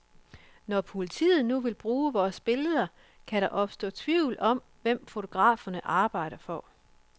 Når politiet nu vil bruge vores billeder, kan der opstå tvivl om, hvem fotograferne arbejder for.